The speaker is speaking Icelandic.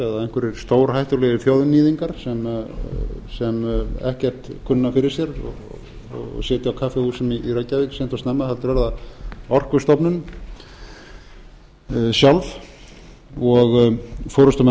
maurasýru eða einhverjir stórhættulegir þjóðníðingar sem ekkert kunna fyrir sér og sitja á kaffihúsum í reykjavík seint og snemma heldur er það orkustofnun sjálf og forustumenn